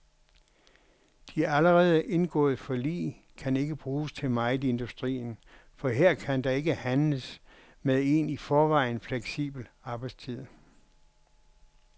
De allerede indgåede forlig kan ikke bruges til meget i industrien for her kan der ikke handles med en i forvejen fleksibel arbejdstid.